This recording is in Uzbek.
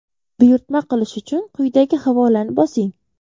Buyurtma qilish uchun quyidagi havolani bosing!